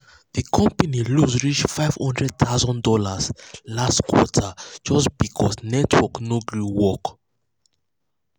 the company lose reach fifty thousand dollars0 last quarter just because network no gree work. work.